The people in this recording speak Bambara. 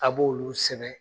A b'olu sɛnɛ